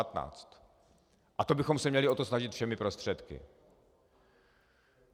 A to bychom se měli o to snažit všemi prostředky.